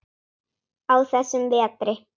á þessum vetri.